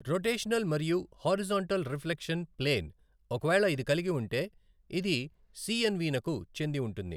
Rotational మరియు horizontal reflection plane ఒకవేళ ఇది కలిగి ఉంటే ఇది సిఏన్వి నకు చెంది ఉంటుంది.